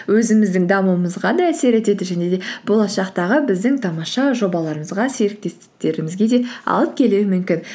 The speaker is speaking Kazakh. өзіміздің дамуымызға да әсер етеді және де болашақтағы біздің тамаша жобаларымызға серіктестіктерімізге де алып келуі мүмкін